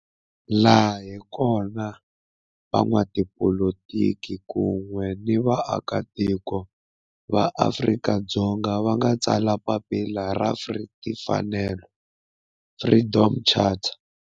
Laha hi kona la van'watipolitiki kun'we ni vaaka tiko va Afrika-Dzonga va nga tsala papila ra timfanelo, Freedom Charter.